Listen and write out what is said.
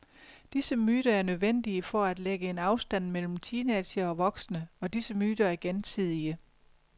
Disse myter er nødvendige for at lægge en afstand mellem teenagere og voksne, og disse myter er gensidige.